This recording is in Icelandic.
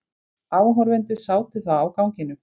Áhorfendur sátu þá á ganginum.